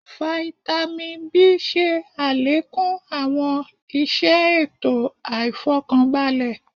Fáítámì B ṣe àlékún àwọn iṣẹ ètò àìfọkanbalẹ̀